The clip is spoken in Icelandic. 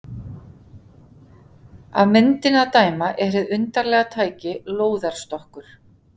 Af myndinni að dæma er hið undarlega tæki lóðarstokkur.